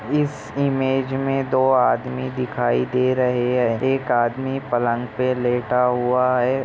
इस इमेज मे दो आदमी दिखाई दे रहे है एक आदमी पलंग पे लेटा हुआ है।